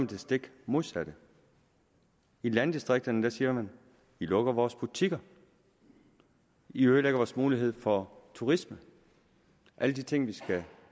det stik modsatte i landdistrikterne siger man i lukker vores butikker i ødelægger vores mulighed for turisme alle de ting vi skal